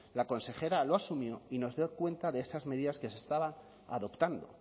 la consejera lo asumió y nos dio cuenta de esas medidas que se estaban adoptando